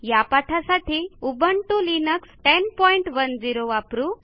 या पाठासाठी Ubuntu Linux 1010 वापरू